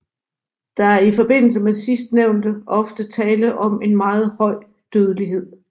Der er i forbindelse med sidstnævnte oftest tale om en meget høj dødelighed